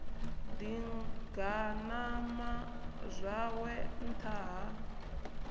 ḓi ganama zwawe nṱtha ha